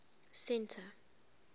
centre